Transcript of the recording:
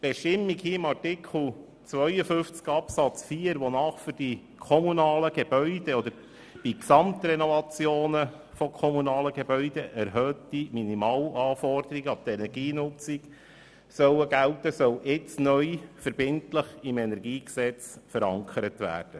Die Bestimmung von Artikel 52 Absatz 4, wonach bei Gesamtrenovationen von kommunalen Gebäuden erhöhte Minimalanforderungen an die Energienutzung gelten sollen, soll jetzt neu verbindlich im KEnG verankert werden.